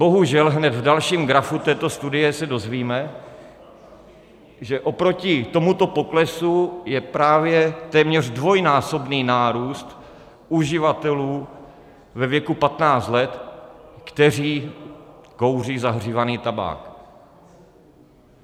Bohužel hned v dalším grafu této studie se dozvíme, že oproti tomuto poklesu je právě téměř dvojnásobný nárůst uživatelů ve věku 15 let, kteří kouří zahřívaný tabák.